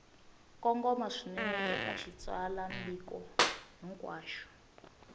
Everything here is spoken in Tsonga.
kongoma swinene eka xitsalwambiko hinkwaxo